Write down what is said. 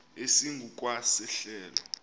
esingu kwa sehlelo